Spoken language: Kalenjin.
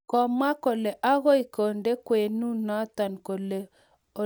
Kamwa kole agoi kende kanamwonoto kou ole kikitet